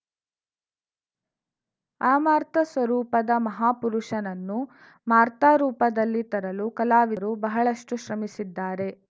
ಅಮಾರ್ತ ಸ್ವರೂಪದ ಮಹಾಪುರುಷನನ್ನು ಮಾರ್ತರೂಪದಲ್ಲಿ ತರಲು ಕಲಾವಿದರು ಬಹಳಷ್ಟುಶ್ರಮಿಸಿದ್ದಾರೆ